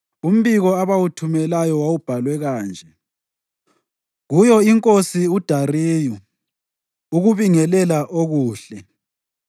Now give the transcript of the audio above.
Umbiko abawuthumelayo wawubhalwe kanje: Kuyo iNkosi uDariyu: Ukubingelela okuhle.